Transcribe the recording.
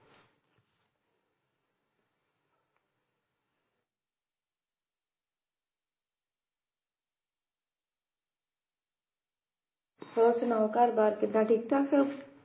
ਹੋਰ ਸੁਣਾਓ ਘਰ ਬਾਰ ਕਿੱਦਾਂ ਠੀਕ ਠਾਕ।